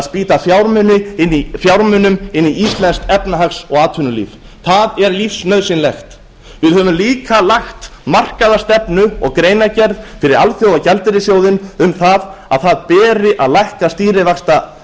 spýta fjármunum inn í íslenskt efnahags og atvinnulíf það er lífsnauðsynlegt við höfum líka lagt markaða stefnu og greinargerð fyrir alþjóðagjaldeyrissjóðinn um að það beri að lækka